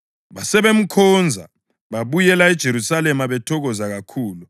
Basebemkhonza, babuyela eJerusalema bethokoza kakhulu.